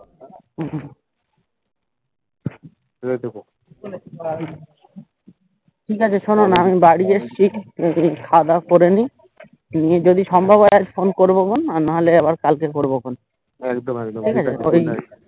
ঠিকাছে শোনোনা আমি বাড়ি গিয়ে খাওয়া দাওয়া করে নি নিয়ে যদি সম্ভব হয় ফোন করবো নাহলে আবার কালকে করবো ফোন ঠিকাছে